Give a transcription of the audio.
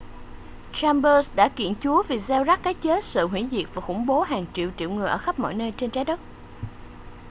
chambers đã kiện chúa vì gieo rắc cái chết sự hủy diệt và khủng bố hàng triệu triệu người ở khắp mọi nơi trên trái đất